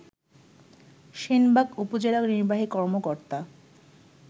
সেনবাগ উপজেলা নির্বাহী কর্মকর্তা